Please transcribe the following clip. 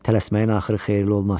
Tələsməyin axırı xeyirli olmaz.